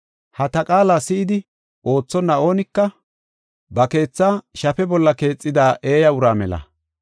Ha ta qaala si7idi oothonna oonika ba keethaa shafe bolla keexida eeya uraa mela.